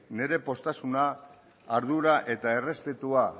nire poztasuna ardura eta errespetua